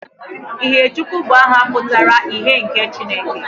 Ihèchukwu bụ aha pụtara ' ihe nke Chineke'